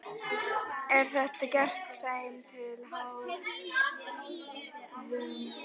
Er þetta gert þeim til háðungar?